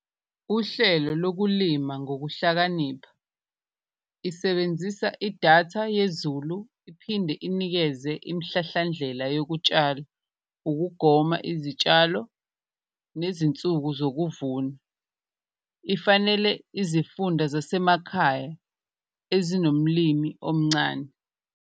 Uhlelo lokulima ngokuhlakanipha isebenzisa idatha yezulu iphinde inikeze imhlahlandlela yokutshala, ukugoma izitshalo nezinsuku zokuvuma, ifanele izifunda zasemakhaya ezinomlimi omncane.